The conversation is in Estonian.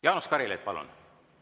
Jaanus Karilaid, palun!